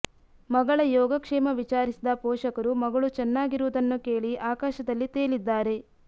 ಮಗಳ ಯೋಗಕ್ಷೇಮ ವಿಚಾರಿಸಿದ ಪೋಷಕರು ಮಗಳು ಚೆನ್ನಾಗಿರುವುದನ್ನು ಕೇಳಿ ಆಕಾಶದಲ್ಲಿ ತೇಲಿದ್ದಾರೆ